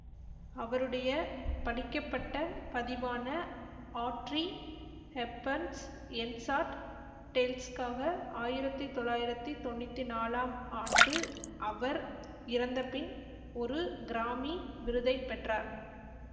அவருடைய படிக்கப்பட்ட பதிவான ஆட்ரி ஹெப்பர்ன்ஸ் என்சாண்ட்ட் டேல்ஸ்க்காக ஆயிரத்தி தொள்ளாயிரத்தி தொன்னூத்தி நாலாம் ஆண்டு அவர் இறந்தபின் ஒரு கிராமி விருதை பெற்றார்